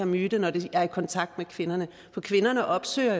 myten når de er i kontakt med kvinderne for kvinderne opsøger